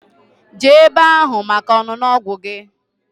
Jee ebe ahu maka ọṅụṅụ ọgwụ gi.